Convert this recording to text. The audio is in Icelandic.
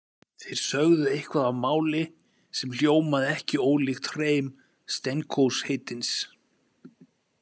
Þeir sögðu eitthvað á máli sem hljómaði ekki ólíkt hreim Stenkos heitins.